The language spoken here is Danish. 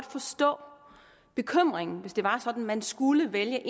forstå bekymringen hvis det var sådan at man skulle vælge